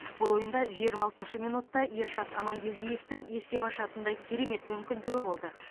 бұл ойында жиырма алтыншы минутта ершат амангелдиевтің есеп ашатындай керемет мүмкіндігі болды